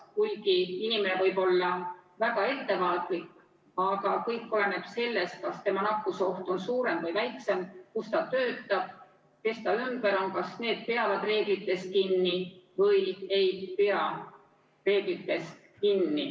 Kuigi inimene võib olla väga ettevaatlik, aga kõik oleneb sellest, kas tema nakkusoht on suurem või väiksem, kus ta töötab, kes ta ümber on, kas need peavad reeglitest kinni või ei pea.